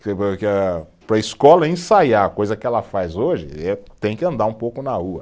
Para a escola ensaiar, coisa que ela faz hoje eh, tem que andar um pouco na rua.